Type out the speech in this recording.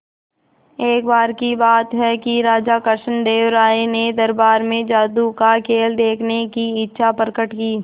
एक बार की बात है कि राजा कृष्णदेव राय ने दरबार में जादू का खेल देखने की इच्छा प्रकट की